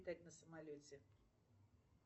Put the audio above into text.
джой базаров александр любит летать на самолете